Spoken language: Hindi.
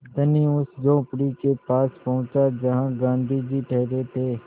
धनी उस झोंपड़ी के पास पहुँचा जहाँ गाँधी जी ठहरे थे